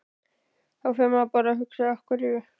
Þá fer maður að hugsa Af hverju?